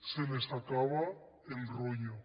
se les acaba el rollo